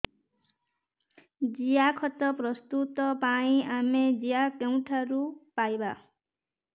ଜିଆଖତ ପ୍ରସ୍ତୁତ ପାଇଁ ଆମେ ଜିଆ କେଉଁଠାରୁ ପାଈବା